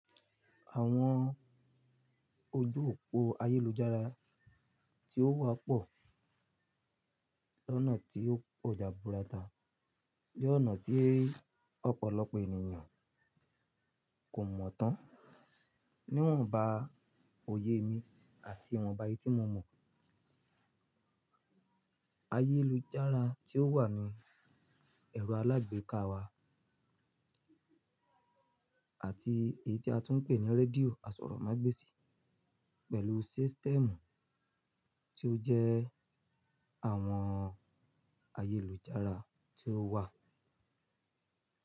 Àwọn ojú òpó ayélujára tí ó wà pọ̀ ni onà tí ó po jabúra tá, ni ọ́nà tí ọ̀pọ̀lọpọ̀ ènìyàn kò mọ̀ tán, níwọ̀n ba òye mi àti ìwọ̀nba eyii ti mo mọ̀. Ayélujára tí ó wà ní ẹ̀rọ alágbèéká wa ati eyii ti a tun pe ni redio asoromagbesi pelu system ti o je àwọn ayélujára tí ó wà.